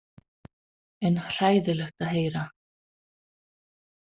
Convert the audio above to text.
En hræðilegt að heyra.